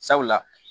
Sabula